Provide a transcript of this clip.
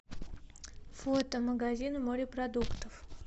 фото магазин морепродуктов